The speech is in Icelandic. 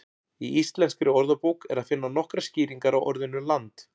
Í Íslenskri orðabók er að finna nokkrar skýringar á orðinu land.